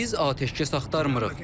Biz atəşkəs axtarmırıq.